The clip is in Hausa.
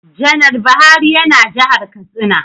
Janar Buhari ya na jihar Katsina